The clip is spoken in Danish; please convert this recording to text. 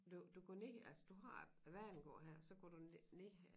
Du du går ned altså du har banegård her så går du ned her